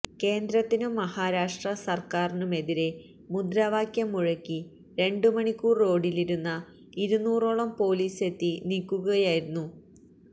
കേന്ദ്രത്തിനും മഹാരാഷ്ട്ര സർക്കാരിനുമെതിരെ മുദ്രാവാക്യം മുഴക്കി രണ്ടു മണിക്കൂർ റോഡിലിരുന്ന ഇരുന്നൂറോളം പോലീസ് എത്തി നീക്കുകയായിരുന്നു